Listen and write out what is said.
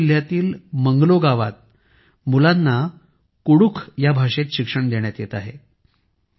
गढवा जिल्ह्यातील मंगलो गावात मुलांना कुडूख भाषेत शिक्षण देण्यात येत आहे